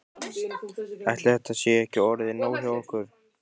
Ætli þetta sé ekki orðið nóg hjá okkur.